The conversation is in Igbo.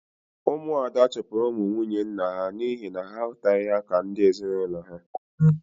Ụmụ Ada chụpụrụ ụmụ nwunye nna ha n'ihi na ha ahụtaghị ha ka ndi ezinulo ha. -